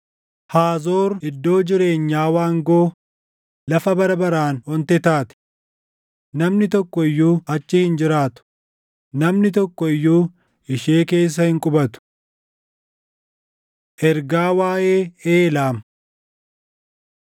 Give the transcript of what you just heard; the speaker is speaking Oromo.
“Haazoor iddoo jireenyaa waangoo, lafa bara baraan onte taati. Namni tokko iyyuu achi hin jiraatu; namni tokko iyyuu ishee keessa hin qubatu.” Ergaa Waaʼee Eelaam